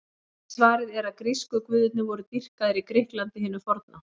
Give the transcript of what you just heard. Eitt svarið er að grísku guðirnir voru dýrkaðir í Grikklandi hinu forna.